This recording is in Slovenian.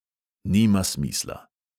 Nima smisla.